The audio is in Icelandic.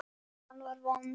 Staðan var vond.